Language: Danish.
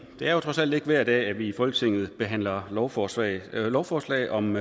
er jo trods alt ikke hver dag at vi i folketinget behandler lovforslag lovforslag om